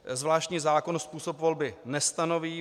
Zvláštní zákon způsob volby nestanoví.